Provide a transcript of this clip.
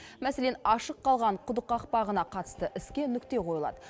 мәселен ашық қалған құдық қақпағына қатысты іске нүкте қойылады